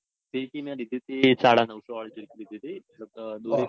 ફીરકી મેં લીધી તી સાડા નૌશો વળી લીધી તી.